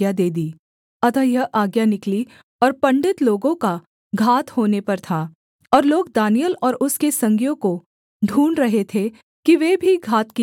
अतः यह आज्ञा निकली और पंडित लोगों का घात होने पर था और लोग दानिय्येल और उसके संगियों को ढूँढ़ रहे थे कि वे भी घात किए जाएँ